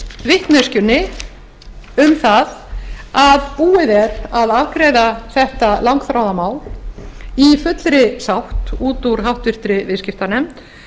vitneskjunni um það að búið er að afgreiða þetta langþráða mál í fullri sátt út úr háttvirtur viðskiptanefnd